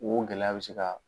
O gɛlɛya bɛ se ka